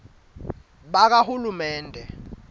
bakahulumende